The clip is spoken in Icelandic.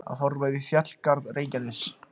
Að horfa yfir fjallgarð Reykjaness.